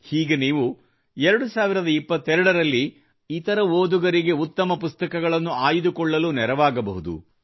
ಹೀಗೆ ನೀವು 2022 ರಲ್ಲಿ ಇತರ ಓದುಗರಿಗೆ ಉತ್ತಮ ಪುಸ್ತಕಗಳನ್ನು ಆಯ್ದುಕೊಳ್ಳಲು ನೆರವಾಗಬಹುದು